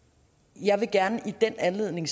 jeg vil i den anledning